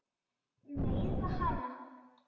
Meiða hana.